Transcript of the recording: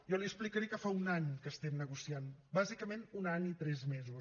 jo li explicaré que fa un any que estem negociant bàsicament un any i tres mesos